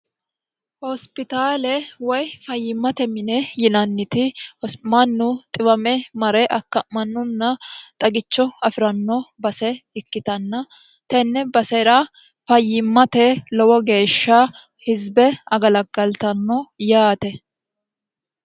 hospitaale woy fayyimmate mine yinanniti hosimannu xiwame mare akka'mannunna xagicho afi'ranno base ikkitanna tenne basera fayyimmate lowo geeshsha hisibe agalaggaltanno yaate